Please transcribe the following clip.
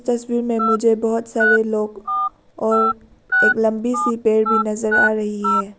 तस्वीर में मुझे बहोत सारे लोग और एक लंबी सी पेड़ भी नजर आ रही है।